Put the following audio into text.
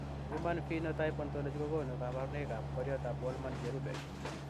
Human Phenotype Ontology kokonu kabarunoikab Koriotoab Wolman cherube